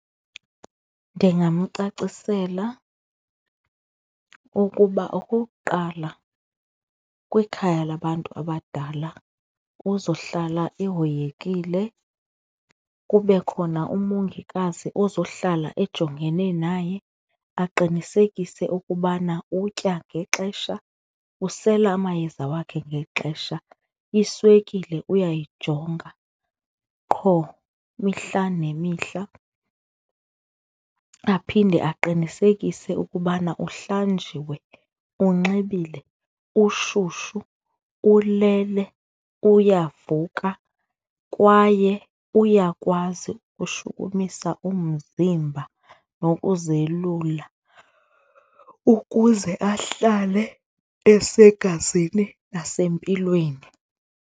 Ndingamcacisela ukuba okokuqala kwikhaya labantu abadala uzohlala ehoyikile kube khona umongikazi ozohlala ejongene naye aqinisekise ukubana utya ngexesha, usele amayeza wakhe ngexesha, iswekile uyayijonga qho mihla nemihla. Aphinde aqinisekise ukubana uhlanjiwe, unxibile, ushushu, ulele, uyavuka kwaye uyakwazi ukushukumisa umzimba nokuzelula ukuze ahlale esegazini nasempilweni.